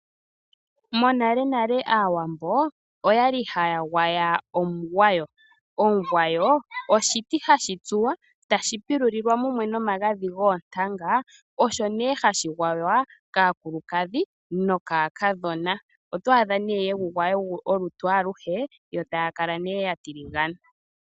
Monale nale aawambo oyali haa gwaya omugwawo. Omugwawo oshiti shoka hashi tsuwa eta shi pilulilwa mumwe nomagadhi goontanga, osho née hashi gwaywa kaakulukadhi nokaakadhona. Otwaadha née yegu gwaya olutu aluhe no haa kala neeh yatiligana.